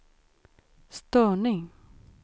störning